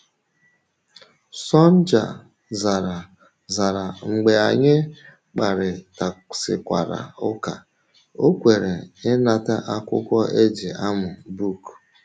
Sonja zara, zara, mgbe anyị kparịtasịkwara ụka, o kweere ịnata akwụkwọ e ji amụ book.